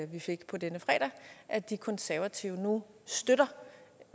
vi fik på denne fredag at de konservative nu støtter